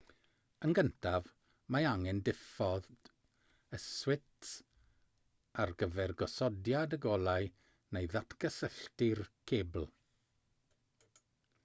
yn gyntaf mae angen diffodd y swits ar gyfer gosodiad y golau neu ddatgysylltu'r cebl